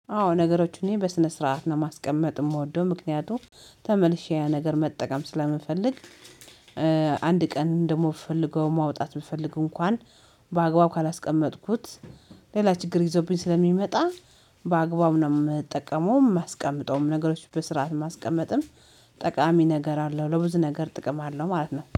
አዎ ነገሮችን በስነ ስርዓት ነው ማስቀመጥ የምወደው ምክንያቱም ተመልሼ ያ ነገር መጠቀም ስለምፈልግ። ቀን ደግሞ ብፈልገው ማውጣት ብፈልግ እንኳን በአግባቡ ካላስቀመጥኩት ሌላ ችግር ይዘውብኝ ስለሚመጣ። በአግባቡ ነው የምጠቀመው የማስቀምጠውም ነገሮች በስርዓት ማስቀመጥም ጠቃሚ ነገር አለው። ለብዙ ነገር ጥቅም አለው ማለት ነው